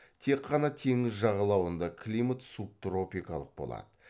тек қана теңіз жағалауында климат субтропикалық болады